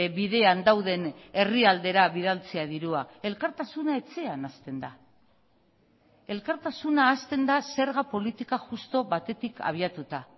bidean dauden herrialdera bidaltzea dirua elkartasuna etxean hasten da elkartasuna hasten da zerga politika justu batetik abiatuta